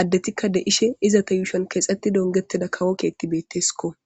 adeti de'ishe izeta gathan qase kexetid ongetj utida kawo kethiyka desiko